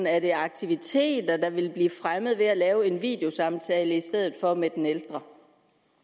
er det aktiviteter der vil blive fremmet ved at lave en videosamtale i stedet for med den ældre